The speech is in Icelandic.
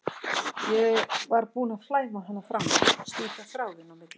Ég var búin að flæma hana frá mér, slíta þráðinn á milli okkar.